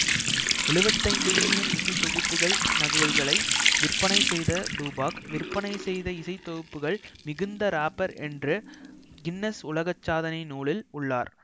எழுவத்தைந்து million இசைத்தொகுப்பு நகல்களை விற்பனை செய்த டூபாக் விற்பனை செய்த இசைத்தொகுப்புகள் மிகுந்த ராப்பர் என்று கின்னெஸ் உலக சாதனை நூலில் உள்ளார்